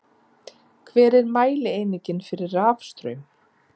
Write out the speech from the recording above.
Hver er mælieiningin fyrir rafstraum?